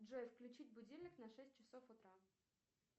джой включить будильник на шесть часов утра